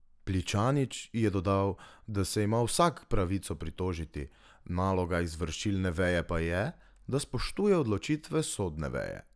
Pličanič je dodal, da se ima vsak pravico pritožiti, naloga izvršilne veje pa je, da spoštuje odločitve sodne veje.